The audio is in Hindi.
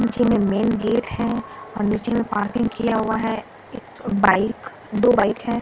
पीछे में मेन गेट है और नीचे में पार्किंग किया हुआ है एक बाइक दो बाइक है ।